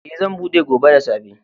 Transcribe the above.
Eh, zan buɗe gobe da safe.